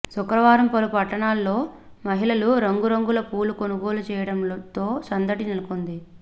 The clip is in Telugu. శుక్రవారం పలు పట్టణాల్లో మహిళలు రంగురంగుల పూలు కొనుగోలు చేయడంతో సందడి నెలకొంది